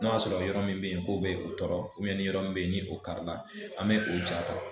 N'o y'a sɔrɔ yɔrɔ min be yen k'o be u tɔɔrɔ ni yɔrɔ min be yen, ni o karila an be o ja ta.